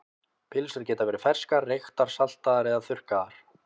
Pylsur geta verið ferskar, reyktar, saltaðar eða þurrkaðar.